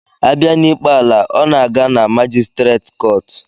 Abia n'ikpe ala, ọ na-aga na majistreet kọọtụ